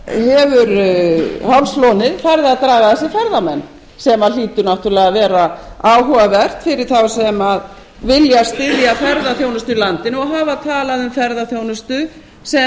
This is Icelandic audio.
hefur hálslónið farið að draga að sér ferðamenn sem hlýtur náttúrulega að vera áhugavert fyrir þá sem vilja styðja ferðaþjónustu í landinu og hafa talað um ferðaþjónustu sem